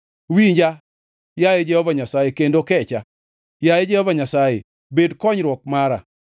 Winja, yaye Jehova Nyasaye, kendo kecha; yaye Jehova Nyasaye bed konyruok mara.”